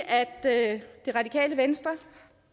at det radikale venstre